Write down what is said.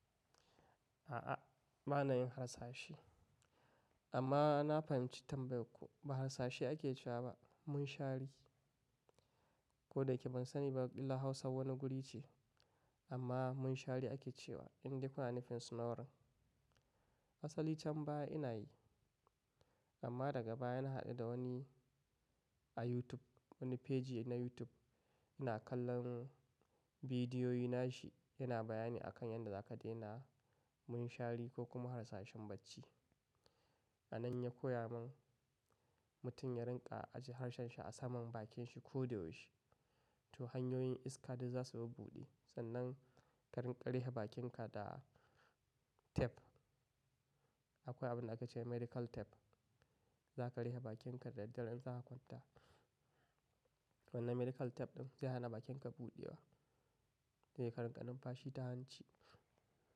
A'a bana yin hasashe. Amma na fahimci tambayarku ba harsashi ake cewa ba, munshari. Ko da yake ban sani ba ɗilla Hausa wane guri ce amma munshari ake cewa in dai kuna nufin snoring. Asali can baya ina yi amma daga baya na haɗu da wani a YouTube, wani feji na YouTube yana kallon bidiyoyi nashi yana bayani a kan yadda za ka daina munshari ko kuma harsashin bacci. A nan ya koya mun mutum ya rinƙa ajiye harshen shi a saman bakin shi ko da yaushe to hanyoyin iska duk za su babuɗe sannan ka rinƙa riƙe bakinka da tef. Akwai abun da aka ce medical tape, za ka riƙe bakinka da daddare in za ka kwanta. Wannan medical tape ɗin zai hana bakinka buɗewa sai ka rinƙa numfashi ta hanci.